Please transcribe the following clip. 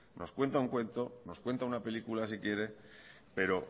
nos cuenta un cuento nos cuenta una película si quiere pero